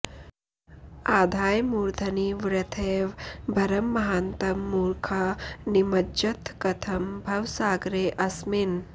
आधाय मूर्धनि वृथैव भरं महान्तं मूर्खा निमज्जथ कथं भवसागरेऽस्मिन्